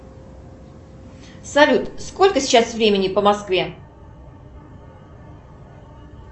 салют сколько сейчас времени по москве